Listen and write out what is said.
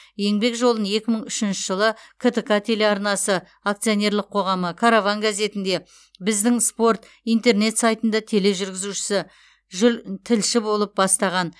еңбек жолын екі мың үшінші жылы ктк телеарнасы акционерлік қоғамы караван газетінде біздің спорт интернет сайтында тележүргізушісі жүл тілші болып бастаған